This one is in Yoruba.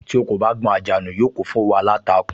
Tí ò kò bá gbọn àjà nù, yóò kún fún òwú aláǹtakùn